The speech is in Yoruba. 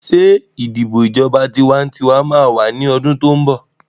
Ṣé ìdìbò ìjọba tiwantiwa máa wà ní ọdún tó ń bọ̀?